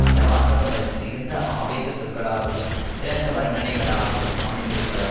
அந்த வாசகங்கள் மிகுந்த ஆவேச சொற்களாகவும் சிறந்த வர்ணனைகளாகவும் அமைந்திருப்பதால்